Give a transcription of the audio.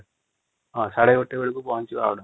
ହଁ ୧;୩୦ ବେଳକୁ ପହଁକି ଯିବା |